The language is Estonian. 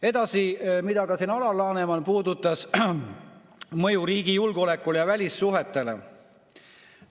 Edasi, mida ka Alar Laneman puudutas: mõju riigi julgeolekule ja välissuhetele.